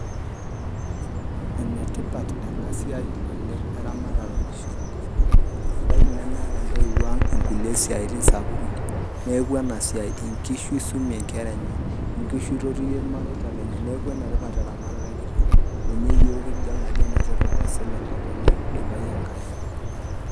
Enetipat ena siai oleng' eramatare oonkishu tenkopang', ebaiki nemeeta intoiwoang' inkulie siaitin sapuki, neaku enesiai. Inkishu eisumie nkeraenye, nkishu eitotiyie ilmareita lenye. Neaku enetipat eramatare enkiteng', ninye yiook kidol ajo enetipat aisul enkop teneidipayu enkai.